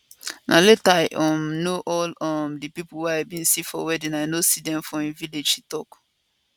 na later i um know all um di pipo wey i bin see for wedding i no see dem for im village she tok